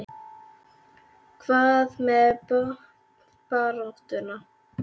Hvað með botnbaráttuna?